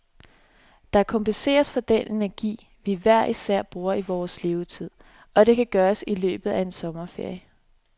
Det kompenserer for den energi, vi hver især bruger i vores levetid, og det kan gøres i løbet af en sommerferie.